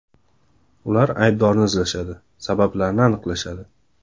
Ular aybdorni izlashadi, sabablarni aniqlashadi.